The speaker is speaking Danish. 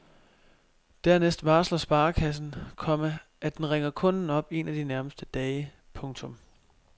Dernæst varsler sparekassen, komma at den ringer kunden op en af de nærmeste dage. punktum